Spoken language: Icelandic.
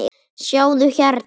Sjáðu hérna.